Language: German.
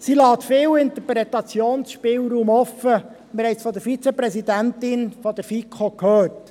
Sie lässt viel Interpretationsspielraum offen, wir haben es von der Vizepräsidentin der FiKo gehört.